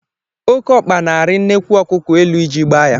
Oke ọkpa na-arị nnekwu ọkụkọ elu iji gbaa ya.